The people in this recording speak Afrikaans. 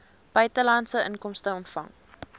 buitelandse inkomste ontvang